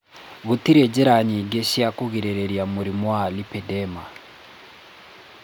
Gũtirĩ njĩra nyingĩ cia kũrigĩrĩria mũrimũ wa lipedema.